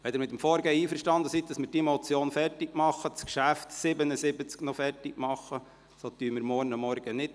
Wenn Sie mit dem Vorgehen einverstanden sind, dass wir diese Motion zu Ende behandeln und auch noch das Traktandum 77 zu Ende führen, tagen wir morgen früh nicht.